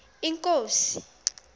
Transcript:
inkosi